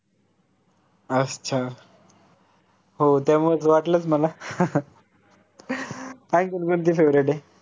अच्छा हो त्यामुळेच वाटलंच मला आणखीन कोणती favorite आहे?